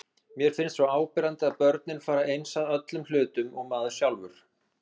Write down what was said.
Mér finnst svo áberandi að börnin fara eins að öllum hlutum og maður sjálfur.